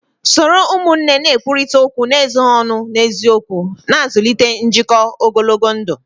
Soro ụmụnne na-ekwurịta okwu n'ezoghị ọnụ na n'eziokwu, na-azụlite njikọ ogologo ndụ